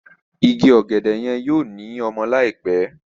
Ìgi ògèdè yen yóò ní ọmọ láìpé.